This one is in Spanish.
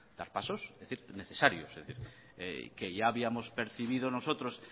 dar pasos necesarios que ya habíamos percibido nosotros